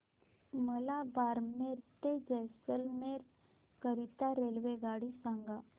मला बारमेर ते जैसलमेर करीता रेल्वेगाडी सांगा